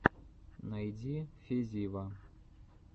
найди фезива